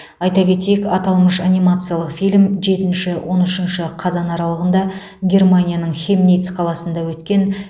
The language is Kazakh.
айта кетейік аталмыш анимациялық фильм жетінші он үшінші қазан аралығында германияның хемниц қаласында өткен